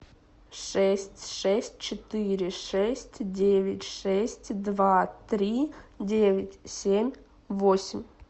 шесть шесть четыре шесть девять шесть два три девять семь восемь